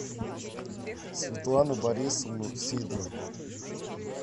светлану борисовну сидорову